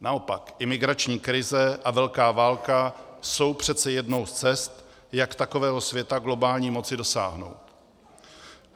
Naopak imigrační krize a velká válka jsou přece jednou z cest, jak takového světa globální moci dosáhnout.